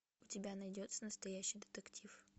у тебя найдется настоящий детектив